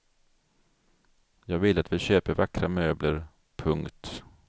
Jag vill att vi köper vackra möbler. punkt